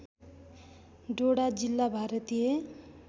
डोडा जिल्ला भारतीय